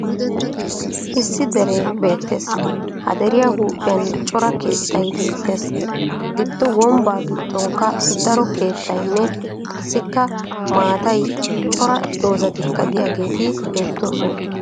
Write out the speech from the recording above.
Issi deree beettes. Ha deriya huuphiyan cora keettay beettes. Giddo wombbaa giddonkka daro keettayinne qassikka maatayi cora dozzatikka diyageeti beettoosona.